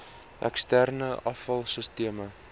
eksterne afval sisteme